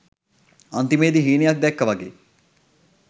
අන්තිමේදී හීනයක් දැක්කා වගේ